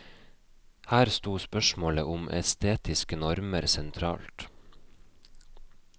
Her stod spørsmålet om estetiske normer sentralt.